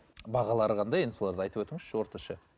бағалары қандай енді соларды айтып өтіңізші орташа